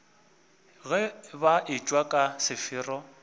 ge ba etšwa ka sefero